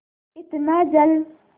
इतना जल